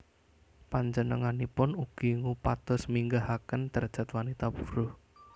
Panjenenganipun ugi ngupados minggahaken drajat wanita buruh